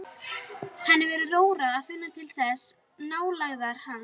Henni verður rórra að finna til þessarar nálægðar hans.